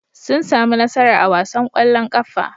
Sun sami nasara a wasan ƙwallon ƙafa.